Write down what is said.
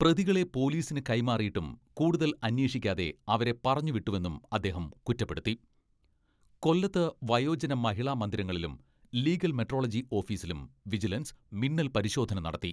പ്രതികളെ പൊലീസിന് കൈമാറിയിട്ടും കൂടുതൽ അന്വേഷിക്കാതെ അവരെ പറഞ്ഞു വിട്ടുവെന്നും അദ്ദേഹം കുറ്റപ്പെടുത്തി. കൊല്ലത്ത് വയോജന മഹിളാ മന്ദിരങ്ങളിലും, ലീഗൽ മെട്രോളജി ഓഫീസിലും വിജിലൻസ് മിന്നൽ പരിശോധന നടത്തി.